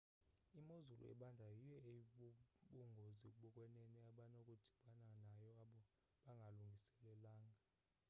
imozulu ebandayo yiyo eyibubungozi bokwenene abanokudibana nayo abo bangalungiselelanga